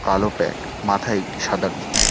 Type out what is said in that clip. কালো প্যান্ট মাথায় একটি সাদা টুপি।